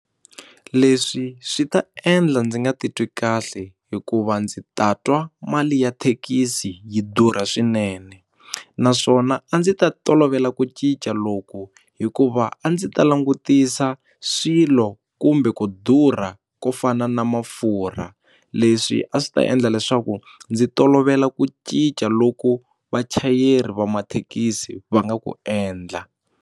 Leswi swi ta endla ndzi nga titwi kahle hikuva ndzi ta twa mali ya thekisi yi durha swinene naswona a ndzi ta tolovela ku cinca loku hikuva a ndzi ta langutisa swilo kumbe ku durha ko fana na mafurha leswi a swi ta endla leswaku ndzi tolovela ku cinca loku vachayeri va mathekisi va nga ku endla.